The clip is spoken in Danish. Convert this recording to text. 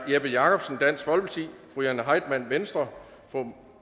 jeppe jakobsen jane heitmann